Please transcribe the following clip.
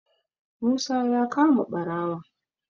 musa ya kama barawon